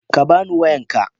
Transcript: Ka bani wayanka.